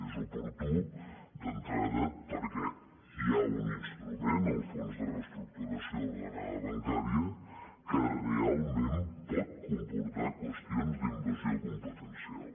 és oportú d’entrada perquè hi ha un instrument el fons de reestructuració ordenada bancària que realment pot comportar qüestions d’invasió competencial